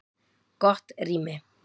Gott rými